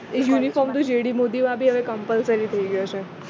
એ uniform તો GD Modi ના બી compulsory થઈ ગયો છે